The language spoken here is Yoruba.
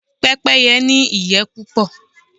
Pẹ́pẹ́yẹ́ ní ìyẹ́ púpọ̀.